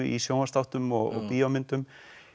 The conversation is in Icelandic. í sjónvarpsþáttum og bíómyndum